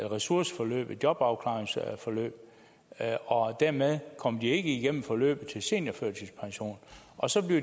ressourceforløb et jobafklaringsforløb og dermed kommer de ikke igennem forløbet til seniorførtidspension og så